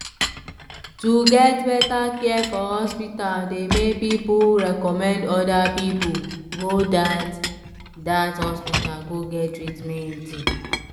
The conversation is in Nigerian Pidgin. to get better care for hospital dey make pipu recommend other pipu go dat dat hospital go get treatment.